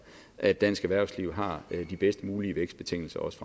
at dansk erhvervsliv har de bedst mulige vækstbetingelser også